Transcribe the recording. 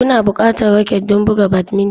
Kuna buƙatar raket don buga badminton